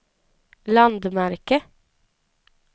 landmärke